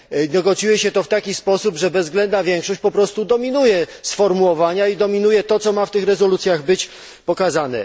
Negocjuje się je w taki sposób, że bezwzględna większość po prostu dominuje sformułowania i dominuje to, co ma w tych rezolucjach być pokazane.